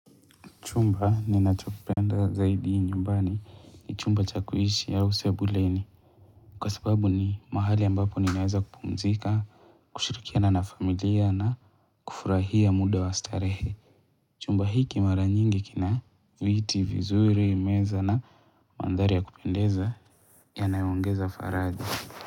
Chumba ninachopenda zaidi nyumbani ni chumba cha kuishishi au sebuleni ni kwa sababu ni mahali ambapo ninaweza kupumzika, kushirikia na nafamilia na kufurahia muda wa astarehe. Chumba hiki mara nyingi kina viti vizuri meza na mandhari ya kupendeza ya nayongeza faraja.